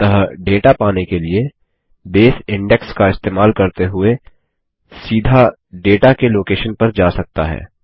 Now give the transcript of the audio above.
अतः डेटा पाने के लिए बेस इंडेक्स का इस्तेमाल करते हुए सीधा डेटा के लोकेशन पर जा सकता है